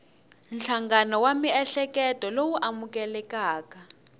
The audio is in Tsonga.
nhlangano wa miehleketo lowu amukelekaka